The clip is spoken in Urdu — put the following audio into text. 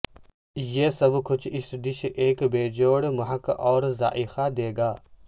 یہ سب کچھ اس ڈش ایک بیجوڑ مہک اور ذائقہ دے گا